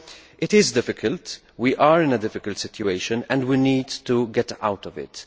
It is difficult. We are in a difficult situation and we need to get out of it.